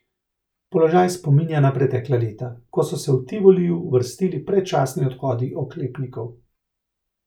Položaj spominja na pretekla leta, ko so se v Tivoliju vrstili predčasni odhodi oklepnikov.